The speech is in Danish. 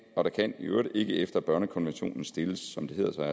og der kan i øvrigt ikke efter børnekonventionen stilles som det hedder